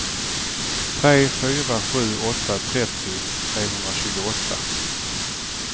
tre fyra sju åtta trettio trehundratjugoåtta